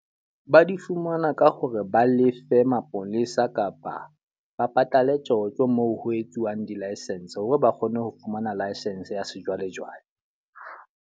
Ba di fumana ka hore ba lefe mapolesa kapa ba patale tjotjo moo ho etsuwang di-licence. Hore ba kgone ho fumana licence ya sejwalejwale.